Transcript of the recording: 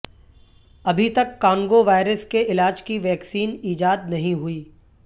ابھی تک Congo virus کے علاج کی ویکسین ایجاد نہیں ہوئی